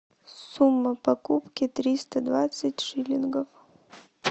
сумма покупки триста двадцать шиллингов